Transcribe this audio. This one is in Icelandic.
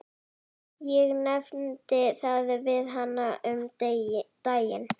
Ég nefndi það við hana um daginn.